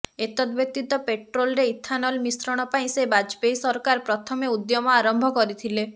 ଏତଦ୍ବ୍ୟତୀତ ପେଟ୍ରୋଲରେ ଇଥାନଲ ମିଶ୍ରଣ ପାଇଁ ସେ ବାଜପେୟୀ ସରକାର ପ୍ରଥମେ ଉଦ୍ୟମ ଆରମ୍ଭ କରିଥିଲେ